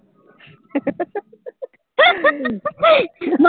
mummy